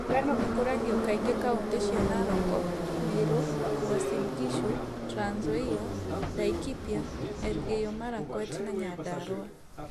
Ngano ikũragio kaingĩ kauntĩ cia Narok, Meru, Uasin Gishu, Trans Nzoia, Laikipia, Elgeyo Marakwet and Nyandarua.